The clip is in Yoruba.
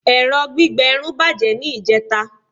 ẹrọ gbígbẹ Irun bajẹ ni ijeta